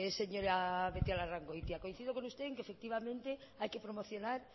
señora beitialarrangoitia coincido con usted en que efectivamente hay que promocionar